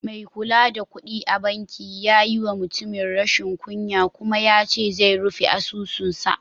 Mai kula da kuɗi a bankin ya yi wa mutumin rashin kunya kuma yace zai rufe asusun sa.